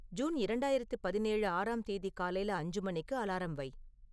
June இரண்டாயிரத்து பதினேழு ஆறாம் தேதி காலைல அஞ்சு மணிக்கு அலாரம் வை